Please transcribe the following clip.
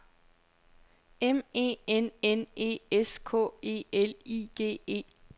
M E N N E S K E L I G E